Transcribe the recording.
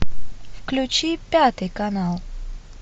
включи пятый канал